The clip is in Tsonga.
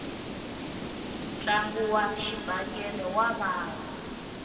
ntlangu wa xibakele wa vava